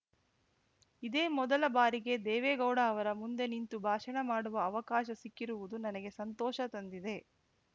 ಇದೇ ಮೊದಲ ಬಾರಿಗೆ ದೇವೇಗೌಡ ಅವರ ಮುಂದೆ ನಿಂತು ಭಾಷಣ ಮಾಡುವ ಅವಕಾಶ ಸಿಕ್ಕಿರುವುದು ನನಗೆ ಸಂತೋಷ ತಂದಿದೆ